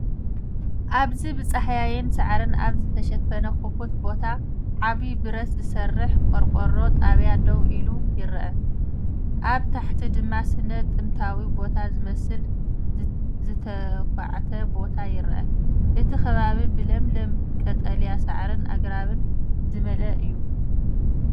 ኣብዚ ብጻህያይን ሳዕርን ኣብ ዝተሸፈነ ክፉት ቦታ፡ ዓቢ ብረት ዝሰርሕ ቆርቆሮ ጣብያ ደው ኢሉ ይርአ። ኣብ ታሕቲ ድማ ስነ-ጥንታዊ ቦታ ዝመስል ዝተዃዕተ ቦታ ይርአ። እቲ ከባቢ ብለምለም ቀጠልያ ሳዕርን ኣግራብን ዝተመልአ እዩ።